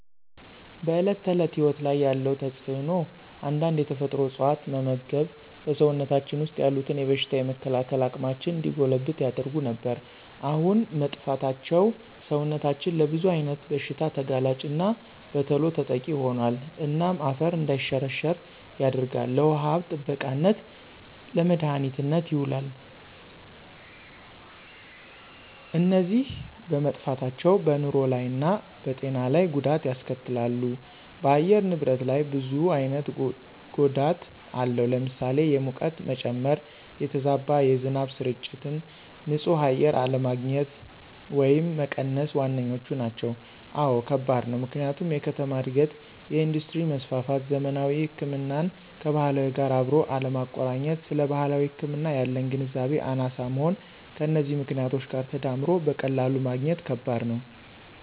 በዕለት ተዕለት ሕይወት ላይ ያለው ተጽእኖ አንዳንድ የተፈጥሮ እፅዋት መመግብ በሰውነታችን ወሰጥ ያሉትን የበሽታ የመከላከል አቅማችን እንዲጎለብት ያደርጉ ነበር። አሁን መጥፍታቸው ሰውነታችን ለብዙ አይነት ብሽታ ተጋላጭና በተሎ ተጠቂ ሆኖል። እናም አፈር እንዳይሸረሸራ ያደርጋል፣ ለውሃ ሀብት ጥበቃነት፣ ለመድሀኒትነት የውላሉ። እነዚ በመጠፍታቸው በንሮ ላይ እና በጤና ለይ ጎዳት ያስከትላሉ ደ በአየር ንብረት ላይ ብዙ አይነት ጎዳት አለው ለምሳሌ፦ የሙቀት መጨመ፣ የተዛባ የዝናብ ስርጭት፣ ን ፅህ አየር አለግኝት ወየም መቀነስ ዋነኛዎቹ ናቸው። አወ ከባድ ነው፦ ምክንያቱም የከተማ እድገት፣ የእንዱስትሪ መስፍፍት፣ ዘመናዊ ህክምናን ከባህላዊ ጋር አብሮ አለማቆረኘት ስለባህላዊ ህክምና ያለን ግንዛቤ አናሳ መሆን ከነዚህ ምክኔቶች ጋር ተዳምሮ በቀላሉ ማግኘት ከበድ ነው።